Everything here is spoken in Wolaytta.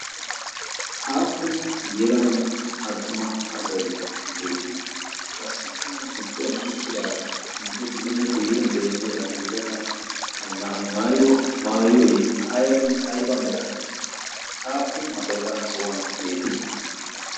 Aappun yelaganne attuma asay beetii? qassikka giduwan uttidii guyye xeelliya yelaga na7ay maayido maayoy aybba mera aappun asayi qa so7uwan beettii?